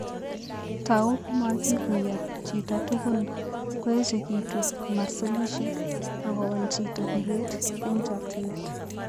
Tou komaikuyo chito tukun, koechekitu masolishek, ak kowal chito biret eng' chokchinet.